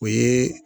O ye